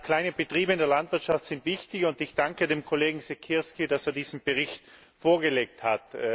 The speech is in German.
Kleine Betriebe in der Landwirtschaft sind wichtig, und ich danke dem Kollegen Siekierski, dass er diesen Bericht vorgelegt hat.